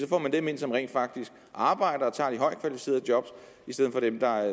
får dem ind som rent faktisk arbejder og tager de højtkvalificerede job i stedet for dem der